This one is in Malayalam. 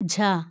ഝ